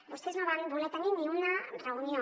vostès no van voler tenir ni una reunió